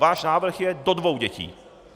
Váš návrh je do dvou dětí.